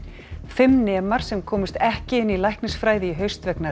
fimm nemar sem komust ekki inn í læknisfræði í haust vegna